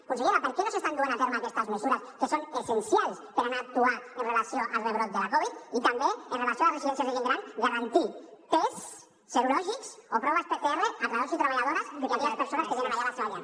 consellera per què no s’estan duent a terme aquestes mesures que són essencials per anar a actuar amb relació al rebrot de la covid i també amb relació a les residències de gent gran garantir tests serològics o proves pcr a treballadors i treballadores i a aquelles persones que tenen allà la seva llar